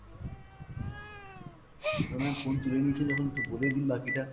ma'am phone তুলে নিয়েছেন যখন তো বলেই দিন বাকিটা।